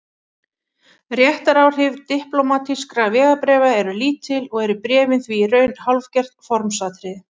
Réttaráhrif diplómatískra vegabréfa eru lítil og eru bréfin því í raun hálfgert formsatriði.